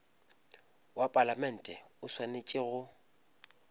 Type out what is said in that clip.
wa palamente o swanetše go